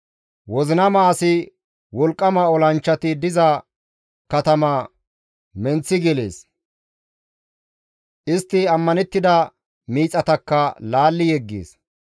Wozinama asi wolqqama olanchchati diza katama menththi gelees; istti ammanettida miixatakka laalli yeggees.